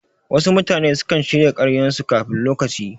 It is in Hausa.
Wasu mutane sukan shirya karyan su kafin lokaci